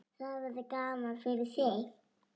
Það verður gaman fyrir þig.